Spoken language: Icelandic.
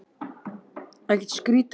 Allt hefur sinn tíma, sagði hún.